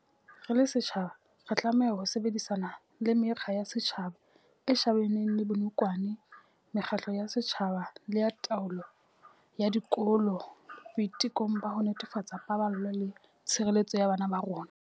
Re le setjhaba, re tlameha ho sebedisana le Mekga ya Setjhaba e shebaneng le Bonokwane mekgatlo ya setjhaba le ya taolo ya dikolo boitekong ba ho netefatsa paballo le tshireletso ya bana ba rona.